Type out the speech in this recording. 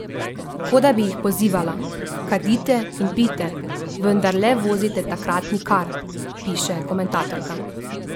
Kot da bi jih pozivala: "Kadite in pijte, vendar le vozite takrat nikar," piše komentatorka.